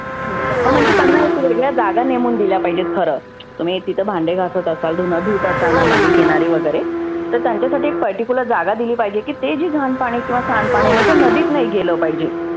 खेडेगाव हा म्हणजे त्यांना ह्या जागा नेमुन दिल्या पाहिजेत खरं. तुम्ही तिथे भांडे घासत असाल, धुनं धुवत असाल नदि किणारी वगैरे तर त्यांच्यासाठी एक जागा दिली पाहिजे की हे जे घाण पाणि किंवा सांड पाणि जे आहे ते नदीत नाही गेलं पाहीजे.